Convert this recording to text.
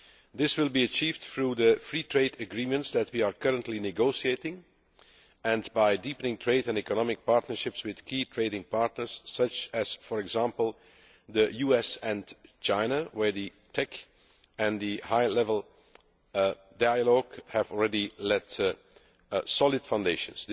This will be achieved through the free trade agreements that we are currently negotiating and by deepening trade and economic partnerships with key trading partners such as, for example, the US and China, where the TEC and the high level dialogue have already laid solid foundations.